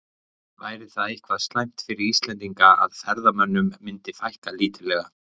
Væri það eitthvað slæmt fyrir Ísland að ferðamönnum myndi fækka lítillega?